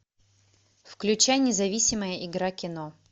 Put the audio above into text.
включай независимая игра кино